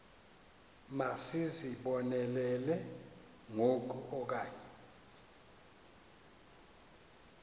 masizibonelele ngoku okanye